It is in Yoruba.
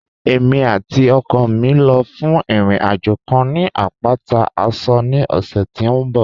Ẹ̀mi àti ọkọ mi ń lọ́ fún ìrìn-àjọ̀ kàn ni apátà Àṣọ̀ ní ọ̀ṣẹ̀ tí n bọ̀